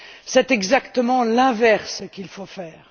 C'est exactement l'inverse qu'il faut faire.